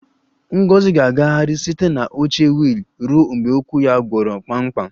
Ngozi ga-agagharị site na oche wiil ruo mgbe ụkwụ ya gwọrọ kpamkpam